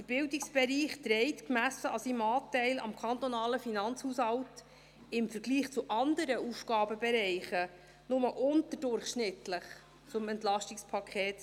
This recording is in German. Der Bildungsbereich trägt, gemessen an seinem Anteil am kantonalen Finanzhaushalt, im Vergleich zu anderen Aufgabenbereichen nur unterdurchschnittlich zum EP 2018 bei.